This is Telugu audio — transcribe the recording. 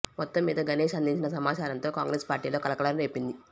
మొత్తం మీద గణేష్ అందించిన సమాచారంతో కాంగ్రెస్ పార్టీలో కలకలం రేపింది